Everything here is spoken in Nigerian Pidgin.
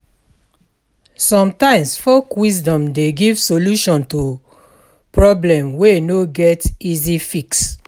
Somtimes folk wisdom dey give solution to problem wey no get easy fix.